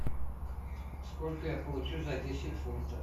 сколько я получу за десять фунтов